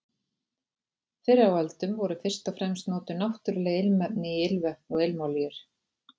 Fyrr á öldum voru fyrst og fremst notuð náttúruleg ilmefni í ilmvötn og ilmolíur.